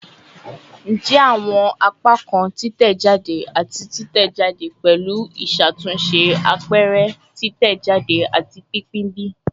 Njẹ awọn apakan titẹjade ati titẹjade pẹlu iṣatunṣe, apẹrẹ, titẹjade, ati pinpin bi?